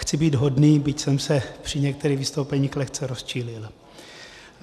Chci být hodný, byť jsem se při některých vystoupeních lehce rozčílil.